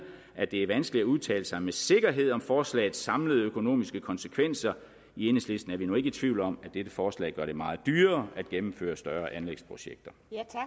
at det er vanskeligt at udtale sig med sikkerhed om forslagets samlede økonomiske konsekvenser i enhedslisten er vi nu ikke tvivl om at dette forslag gør det meget dyrere at gennemføre større anlægsprojekter